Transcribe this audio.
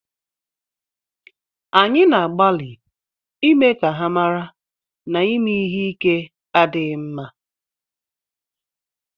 Anyị na-agbalị ịme ka ha mara na ịme ihe ike adịghị mma